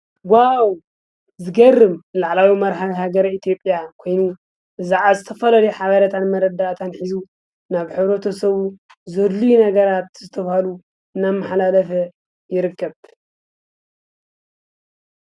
ዋው ዝገርም ላዕለዋይ ናይ ሃገረ መራሒ ኢትዮጵያ ኮይኑ ዝተፈላለዩ ሓበሬታን መረዳእታን ሒዙ ናብ ሕ/ሰቡ ዘድልዩ ነገራት ዝተበሃሉ እናመሓላለፈ ይርከብ፡፡